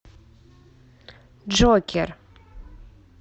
джокер